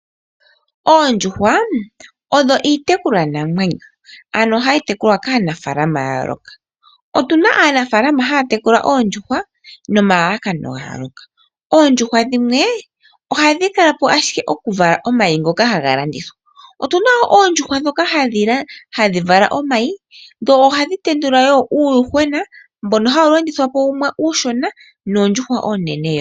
Oondjuhwa odho iitekulwa namwenyo, ano hayi tekulwa kaanafaalama ya yooloka. Otuna aanafaalama ya ya tekula oondjuhwa nomalalakano ga yooloka. Oondjuhwa dhimwe oha dhi kalapo ashike oku vala omayi ha ga landithwa. Otuna oondjuhwa ndhoka ha dhi vala omayi, ha tendula uuyuhwena mboka ha wu landithwapo uushona noondjuhwa oonene.